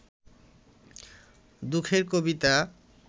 দুঃখের কবিতা